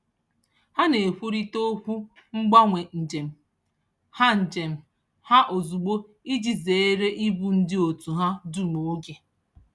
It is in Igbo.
Ha na-ekwurịta okwu mgbanwe njem ha njem ha ozugbo iji zeere igbu ndị otu ahụ dum oge